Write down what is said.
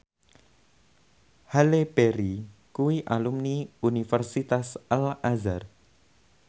Halle Berry kuwi alumni Universitas Al Azhar